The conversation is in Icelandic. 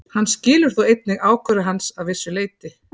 Hann skilur þó einnig ákvörðun hans að vissu leyti.